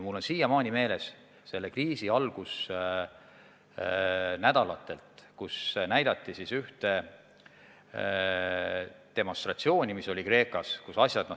Mul on siiamaani meeles, et selle kriisi algusnädalatel näidati televisioonis ühte Kreekas toimunud demonstratsiooni.